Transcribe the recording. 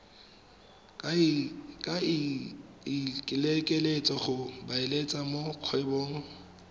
ikaeletseng go beeletsa mo kgwebong